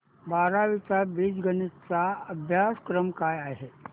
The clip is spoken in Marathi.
बारावी चा बीजगणिता चा अभ्यासक्रम काय आहे